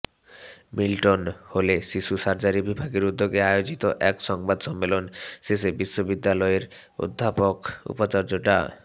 Milton হলে শিশু surgery বিভাগের উদ্যোগে আয়োজিত এক সংবাদ সম্মেলন শেষে বিশ্ববিদ্যালয়ের উপাচার্য অধ্যাপক ডা